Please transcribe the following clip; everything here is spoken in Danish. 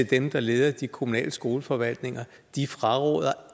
dem der leder de kommunale skoleforvaltninger fraråder